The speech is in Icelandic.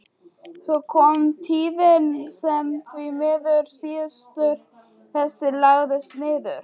Svo kom tíðin sem því miður siður þessi lagðist niður.